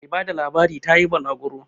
Mai bada labarin ta yi balaguro